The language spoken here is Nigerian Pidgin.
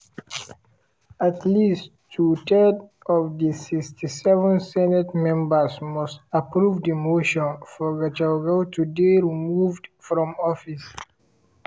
at least two-thirds of di 67 senate members must approve di motion for gachagua to dey removed from office.